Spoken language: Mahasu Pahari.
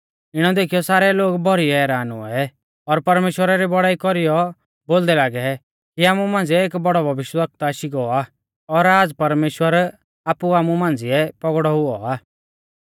इणै देखीयौ सारै लोग भौरी हैरान हुऐ और परमेश्‍वरा री बौड़ाई कौरीयौ बोलदै लागै कि आमु मांझ़िऐ एक बौड़ौ भविष्यवक्ता आशी गौ आ और आज़ परमेश्‍वर आपु आमु मांझ़िऐ पौगड़ौ हुऔ आ